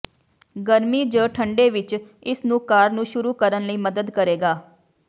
ਗਰਮੀ ਜ ਠੰਡੇ ਵਿੱਚ ਇਸ ਨੂੰ ਕਾਰ ਨੂੰ ਸ਼ੁਰੂ ਕਰਨ ਲਈ ਮਦਦ ਕਰੇਗਾ